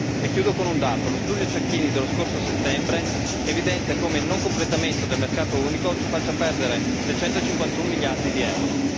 E chiudo con un dato lo studio Cecchini dello scorso settembre evidenzia come il mancato completamento del mercato unico ci faccia perdere 651 miliardi di EUR.